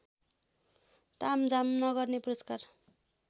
तामझाम नगर्ने पुरस्कार